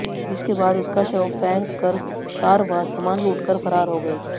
जिसके बाद उसका शव फैंक कर कार व सामान लूटकर फरार हो गए